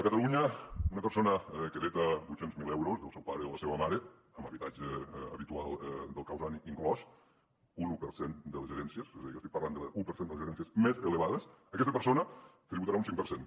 a catalunya una persona que hereta vuit cents miler euros del seu pare o la seva mare amb l’habitatge habitual del causant inclòs un un per cent de les herències és a dir que estic parlant de l’un per cent de les herències més elevades aquesta persona tributarà un cinc per cent